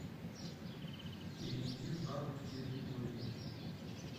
перейди в навык территория